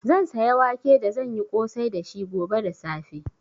Zan saya wake da zan yi ƙosai dashi gobe da safe.